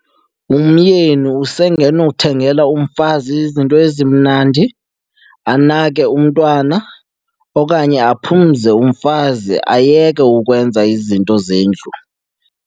Umyeni usengenothengela umfazi izinto ezimnandi, anake umntwana okanye aphumze umfazi ayeke ukwenza izinto zendlu.